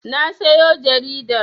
Na sayo jaridar.